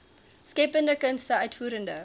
skeppende kunste uitvoerende